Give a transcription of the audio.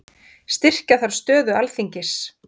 Styrkja þarf stöðu Alþingis